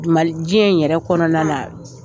Jɛn in yɛrɛ kɔnɔna